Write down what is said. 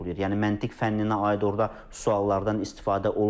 Yəni məntiq fənninə aid orda suallardan istifadə olunmur.